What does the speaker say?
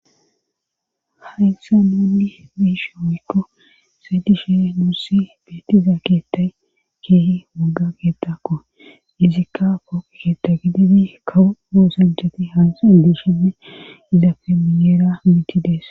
Haisa nunni bishowekko saydishe nuussi beeti za ketay keehi mugga getako izikka fooke keeta gididi kawu moosenjeti hanse indushime iza femiyeera mitidees.